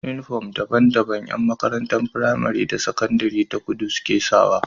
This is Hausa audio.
Inufom daban daban Yan makarantun pramari da sakandari ta kudi suke sawa